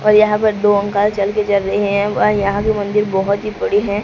और यहां पर दो अंकल चल के चल रहे है। वह यहां भी मंदिर बोहोत ही बड़ी है।